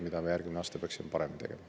Seda me peaksime järgmisel aastal paremini tegema.